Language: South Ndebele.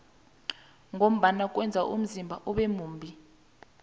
ngombana kweza umzimba ube mumbi